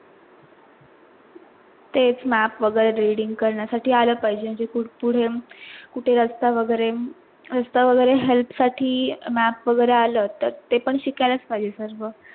तेच map वगैरे reading करण्यासाठी आल पाहिजे कुडून कुठे असता वगैरे असता वगैरे help साठी map वगैरे आल तर ते पण शिकायलाच पाहिजे सर्व